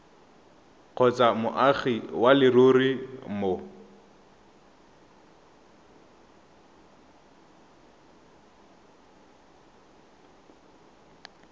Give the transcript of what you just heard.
kgotsa moagi wa leruri mo